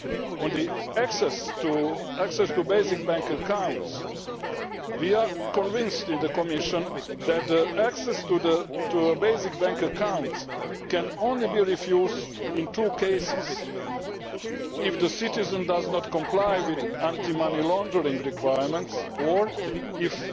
On access to basic bank accounts, we are convinced in the Commission that access to basic bank accounts can only be refused in two cases if the citizen does not comply with anti money laundering requirements, or if